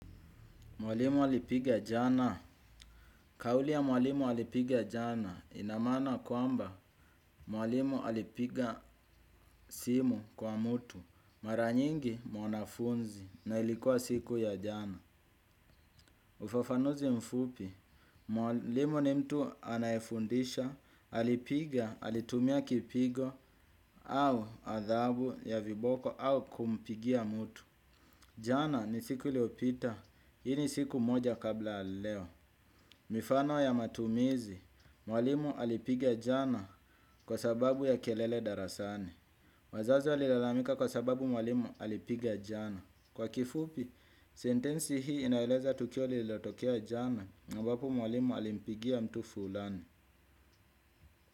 Mwalimu alipiga jana, kauli ya mwalimu alipiga jana ina maana kwamba mwalimu alipiga simu kwa mtu. Mara nyingi mwanafunzi na ilikuwa siku ya jana. Ufafanuzi mfupi, mwalimu ni mtu anayefundisha, alipiga, alitumia kipigo au adhabu ya viboko au kumpigia mtu. Jana ni siku iliyopita, hii ni siku moja kabla ya leo. Mifano ya matumizi, mwalimu alipiga jana kwa sababu ya kelele darasani. Wazazi walilalamika kwa sababu mwalimu alipiga jana. Kwa kifupi, sentensi hii inaeleza tukio lililotokea jana, ambapo mwalimu alimpigia mtu fulani.